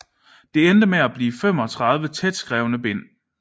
Det endte med at blive 35 tætskrevne bind